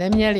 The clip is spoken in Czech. Neměli.